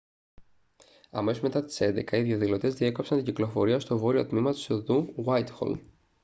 αμέσως μετά τις 11.00 οι διαδηλωτές διέκοψαν την κυκλοφορία στο βόρειο τμήμα της οδού γουάιτχολ